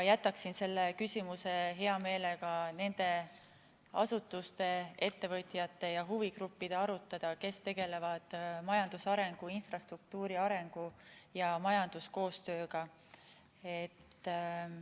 Jätaksin selle küsimuse hea meelega nende asutuste‑ettevõtete ja huvigruppide arutada, kes tegelevad majandusarengu, infrastruktuuri arengu ja majanduskoostööga.